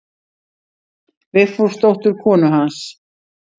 Vigfúsdóttur konu hans.